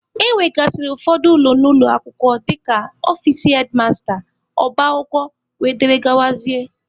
E nwegasịrị ụfọdụ ụlọ n'ụlọ akwụkwọ dịka ọfici hedmasta, ọba akwụkwọ wdg.